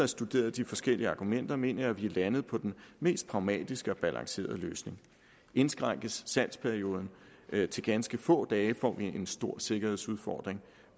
studeret de forskellige argumenter mener jeg at vi er landet på den mest pragmatiske og balancerede løsning indskrænkes salgsperioden til ganske få dage får vi en stor sikkerhedsudfordring